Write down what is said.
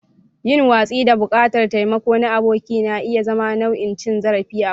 Yin watsi da buƙatar taimako na aboki na iya zama nau'in cin zarafi a ɓoye.